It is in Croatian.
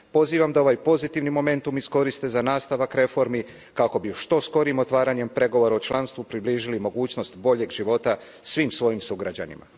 Pozivam da ovaj pozitivni momentum iskoriste za nastavak reformi kako bi što skorijim otvaranjem pregovora o članstvu približili mogućnost boljeg života svim svojim sugrađanima.